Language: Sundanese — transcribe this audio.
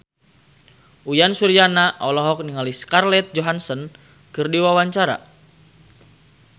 Uyan Suryana olohok ningali Scarlett Johansson keur diwawancara